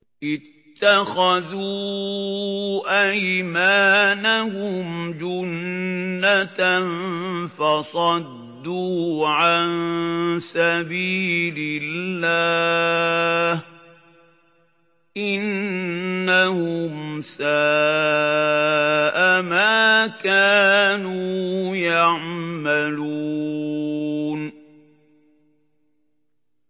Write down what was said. اتَّخَذُوا أَيْمَانَهُمْ جُنَّةً فَصَدُّوا عَن سَبِيلِ اللَّهِ ۚ إِنَّهُمْ سَاءَ مَا كَانُوا يَعْمَلُونَ